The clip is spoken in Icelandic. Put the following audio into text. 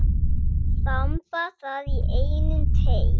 Þamba það í einum teyg.